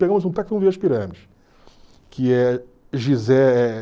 Pegamos um táxi e fomos ver as pirâmides. Que é Gizé